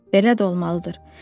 Belə də olmalıdır.